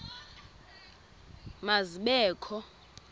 ma zibe kho